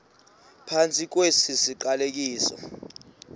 phantsi kwesi siqalekiso